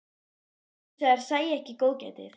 Létu sem þær sæju ekki góðgætið.